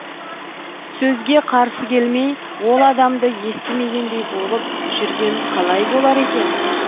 сөзге қарсы келмей ол адамды естімегендей болып жүрген қалай болар екен